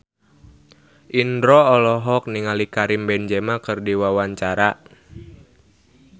Indro olohok ningali Karim Benzema keur diwawancara